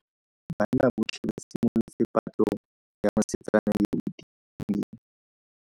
Banna botlhe ba simolotse patlo ya mosetsana yo o timetseng.